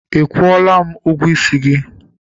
Ị kwụọla m ụgwọ isi gị?